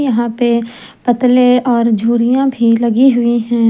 यहां पे पतले और झुरियां भी लगी हुई हैं।